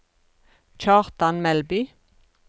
Kjartan Melby